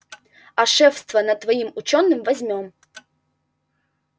а шефство над твоим учёным возьмём